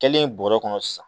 Kɛlen bɔrɛ kɔnɔ sisan